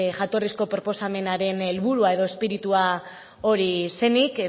jatorrizko proposamenaren helburua edo izpiritua hori zenik